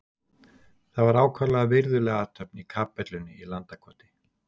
Það var ákaflega virðuleg athöfn í kapellunni í Landakoti.